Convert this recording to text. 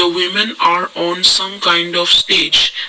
the women are on some kind of speech.